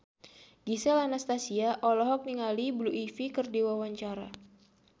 Gisel Anastasia olohok ningali Blue Ivy keur diwawancara